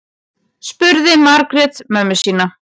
spurði margrét mömmu sína